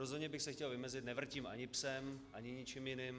Rozhodně bych se chtěl vymezit - nevrtím ani psem, ani ničím jiným.